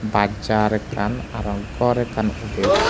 baj jaar ekkan arow gor ekkan uder.